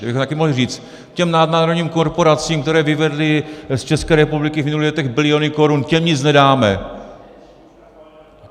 To bychom také mohli říct: těm nadnárodním korporacím, které vyvedly z České republiky v minulých letech biliony korun, těm nic nedáme.